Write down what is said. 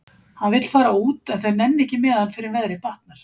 Hann vill fara út en þau nenna ekki með hann fyrr en veðrið batnar.